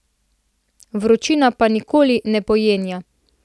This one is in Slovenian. Vročina pa nikoli ne pojenja.